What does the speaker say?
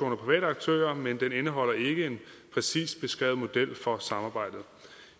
private aktører men det indeholder ikke en præcist beskrevet model for samarbejdet